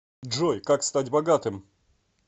джой как стать богатым